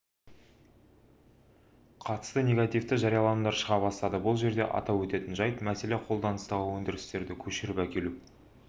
қатысты негативті жарияланымдар шыға бастады бұл жерде атап өтетін жайт мәселе қолданыстағы өндірісті көшіріп әкелу